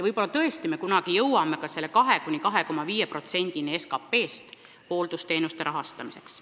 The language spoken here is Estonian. Võib-olla tõesti me kunagi jõuame ka 2–2,5%-ni SKT-st hooldusteenuste rahastamisel.